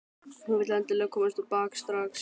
Hún vill endilega komast á bak strax.